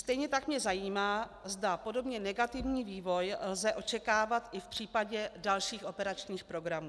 Stejně tak mě zajímá, zda podobně negativní vývoj lze očekávat i v případě dalších operačních programu.